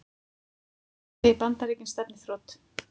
Segir Bandaríkin stefna í þrot